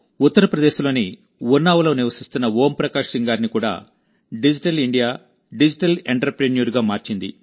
ఉత్తరప్రదేశ్ లోని ఉన్నావ్లో నివసిస్తున్న ఓం ప్రకాష్ సింగ్ గారిని కూడా డిజిటల్ ఇండియా డిజిటల్ ఎంటర్ప్రెన్యూర్గా మార్చింది